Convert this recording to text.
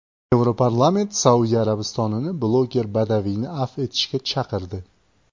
Yevroparlament Saudiya Arabistonini bloger Badaviyni afv etishga chaqirdi.